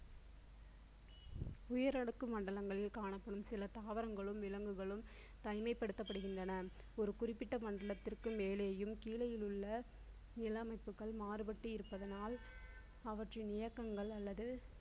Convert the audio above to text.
உயர் அடுக்கு மண்டலங்களில் காணப்படும் சில தாவரங்களும் விலங்குகளும் தனிமைப்படுத்தப்படுகின்றன ஒரு குறிப்பிட்ட மண்டலத்திற்கு மேலேயும் கீழேயும் உள்ள நில அமைப்புகள் மாறுபட்டு இருப்பதினால் அவற்றின் இயக்கங்கள் அல்லது